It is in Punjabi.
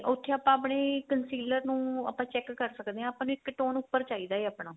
ਉੱਥੇ ਆਪਾਂ ਆਪਣੇ concealer ਨੂੰ ਆਪਾਂ check ਕ਼ਰ ਸਕਦੇ ਆ ਆਪਾਂ ਨੂੰ ਇੱਕ tone ਉੱਪਰ ਚਾਹੀਦਾ ਏ ਆਪਣਾ